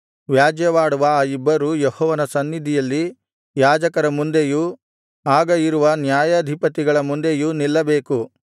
ವ್ಯಾಜ್ಯವಾಡುವ ಆ ಇಬ್ಬರೂ ಯೆಹೋವನ ಸನ್ನಿಧಿಯಲ್ಲಿ ಯಾಜಕರ ಮುಂದೆಯೂ ಆಗ ಇರುವ ನ್ಯಾಯಾಧಿಪತಿಗಳ ಮುಂದೆಯೂ ನಿಲ್ಲಬೇಕು